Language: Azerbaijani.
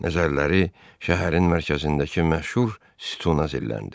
Nəzərləri şəhərin mərkəzindəki məşhur sütuna zilləndi.